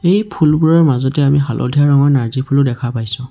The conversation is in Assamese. এই ফুলবোৰৰ মাজতে আমি হালধীয়া ৰঙৰ নাৰ্জী ফুলো দেখা পাইছোঁ।